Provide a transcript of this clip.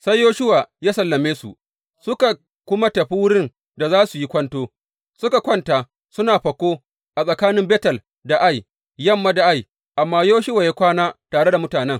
Sai Yoshuwa ya sallame su, suka kuma tafi wurin da za su yi kwanto, suka kwanta suna fako tsakanin Betel da Ai, yamma da Ai, amma Yoshuwa ya kwana tare da mutanen.